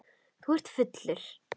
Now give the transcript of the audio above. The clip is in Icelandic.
Þú ert fullur, segir hún.